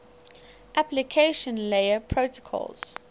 application layer protocols